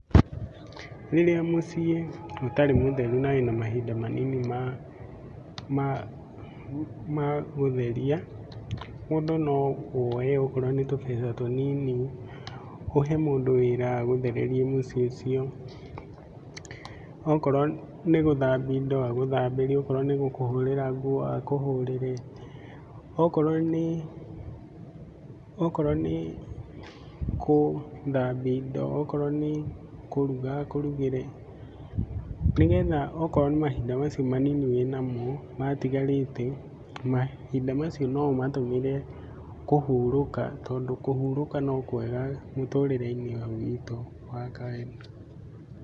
Rĩrĩa mũciĩ ũtarĩ mũtheru na wĩna mahinda manini ma gũtheria, mũndũ no woe okorwo nĩ tũbeca tũnini ũhe mũndũ wĩra agũthererie mũciĩ ũcio. Okorwo nĩ gũthambia indo agũthambĩrie, okorwo nĩ gũkũhũrĩra nguo akũhũrĩre, okorwo nĩ, okorwo nĩ gũthambia indo, okorwo nĩ kũruga akũrugĩre nĩgetha okorwo nĩ mahinda macio manini wĩ namo matigarĩte, mahinda macio no ũmatũmĩre kũhurũka tondũ kũhurũka no kwega mũtũrĩre-inĩ ũyũ witũ wa Ngai.